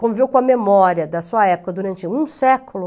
conviveu com a memória da sua época durante um século.